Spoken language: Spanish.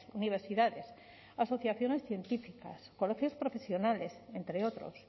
universidades asociaciones científicas y colegios profesionales entre otros